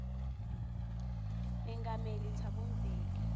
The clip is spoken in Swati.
mengameli thabo mbeki